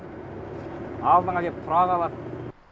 алдыңа келіп тұра қалады